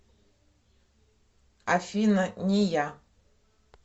афина не я